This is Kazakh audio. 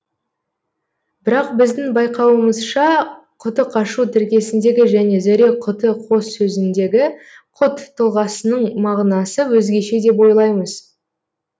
бірақ біздің байқауымызша құты қашу тіркесіндегі және зәре құты қос сөзіндегі құт тұлғасының мағынасы өзгеше деп ойлаймыз